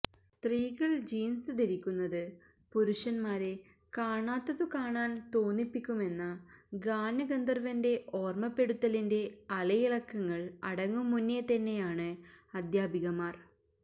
സ്ത്രീകള് ജീന്സ് ധരിക്കുന്നത് പുരുഷന്മാരെ കാണാത്തതു കാണാന് തോന്നിപ്പിക്കുമെന്ന ഗാനഗന്ധവര്വന്റെ ഓര്മ്മപ്പെടുത്തലിന്റെ അലയിളക്കങ്ങള് അടങ്ങും മുന്നേതന്നെയാണ് അധ്യാപികമാര്